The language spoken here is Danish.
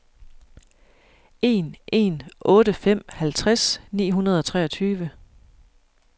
en en otte fem halvtreds ni hundrede og treogtyve